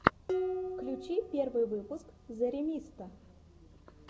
включи первый выпуск зэремисто